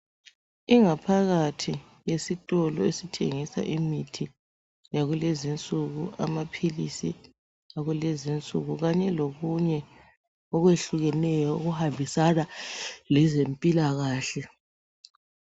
Ingaphakathi yesitolo esithengisa imithi yakulezinsuku, amaphilisi akulezi nsuku kanye lokunye okwehlukeneyo okuhambisana lezempilakahle.